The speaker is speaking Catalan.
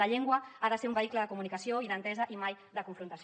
la llengua ha de ser un vehicle de comunicació i d’entesa i mai de confrontació